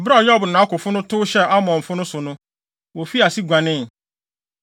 Bere a Yoab ne nʼakofo no tow hyɛɛ Aramfo no so no, wofii ase guanee.